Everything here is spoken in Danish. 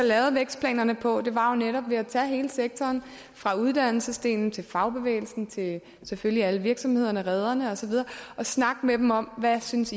lavede vækstplanerne på var så netop ved at tage hele sektoren fra uddannelsesdelen til fagbevægelsen til selvfølgelig alle virksomhederne rederne og så videre og snakke med dem om hvad de synes